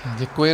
Děkuji.